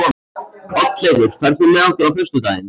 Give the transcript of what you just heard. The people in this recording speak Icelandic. Oddleifur, ferð þú með okkur á föstudaginn?